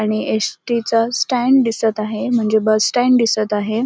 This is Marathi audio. आणि एसटीच स्टँड दिसत आहे म्हणजे बस स्टँड दिसत आहे.